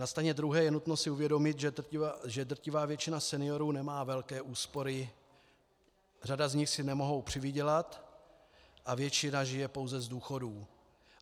Na straně druhé je nutno si uvědomit, že drtivá většina seniorů nemá velké úspory, řada z nich si nemůže přivydělat a většina žije pouze z důchodů.